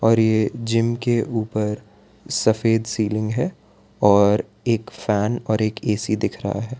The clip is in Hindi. पर ये जिम के ऊपर सफेद सीलिंग है और एक फैन और एक ए_सी दिख रहा है।